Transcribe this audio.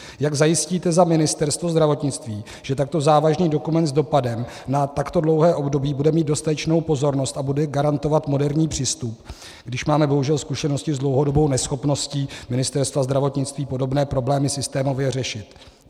Jak zajistíte za Ministerstvo zdravotnictví, že takto závažný dokument s dopadem na takto dlouhé období bude mít dostatečnou pozornost a bude garantovat moderní přístup, když máme bohužel zkušenosti s dlouhodobou neschopností Ministerstva zdravotnictví podobné problémy systémově řešit?